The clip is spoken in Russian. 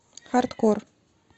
хардкор